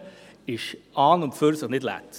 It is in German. zurückkommen dürfte, ist an und für sich nicht falsch.